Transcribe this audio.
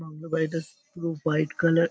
Bungalow বাড়িটা পুরো white colour.